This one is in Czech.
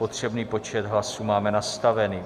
Potřebný počet hlasů máme nastavený.